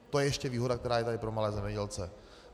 To je ještě výhoda, která je tady pro malé zemědělce.